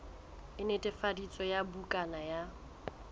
e netefaditsweng ya bukana ya